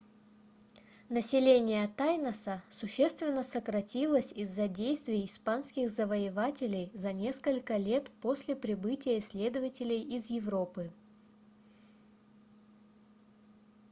население тайноса существенно сократилось из-за действий испанских завоевателей за несколько лет после прибытия исследователей из европы